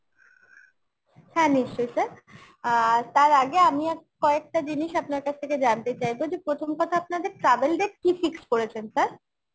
হ্যাঁ নিশ্চয়ই sir অ্যাঁ তার আগে আমি আ~ কয়েকটা জিনিস আপনার কাছ থেকে জানতে চাইবো যে প্রথম কথা আপনাদের tavel date কী fixed করেছেন sir?